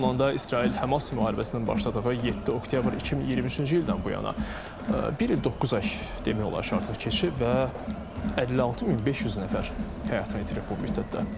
Bununla da İsrail-Həmas müharibəsi başlayanda 7 oktyabr 2023-cü ildən bu yana bir il doqquz ay demək olar ki, artıq keçib və 56500 nəfər həyatını itirib bu müddətdə.